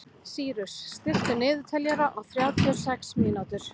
Sýrus, stilltu niðurteljara á þrjátíu og sex mínútur.